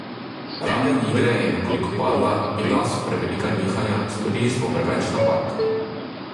Raven igre je nekoliko padla, bila so prevelika nihanja, storili smo preveč napak.